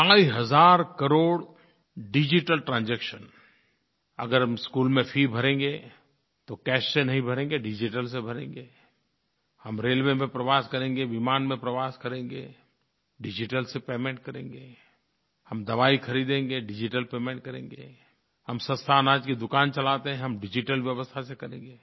ढाई हज़ार crore digital transaction अगर हम स्कूल में फी भरेंगे तो कैश से नहीं भरेंगे डिजिटल से भरेंगे हम रेलवे में प्रवास करेंगे विमान में प्रवास करेंगे डिजिटल से पेमेंट करेंगे हम दवाई ख़रीदेंगे डिजिटल पेमेंट करेंगे हम सस्ते अनाज की दुकान चलाते हैं हम डिजिटल व्यवस्था से करेंगे